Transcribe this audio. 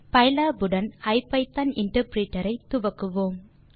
pylab உடன் ஐபிதான் interpreter ஐ துவக்குவோம்